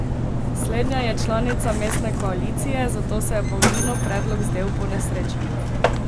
Slednja je članica mestne koalicije, zato se je Pavlinu predlog zdel ponesrečen.